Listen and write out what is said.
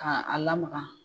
Ka a lamaga.